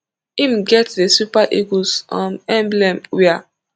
im get di super eagles um emblem wia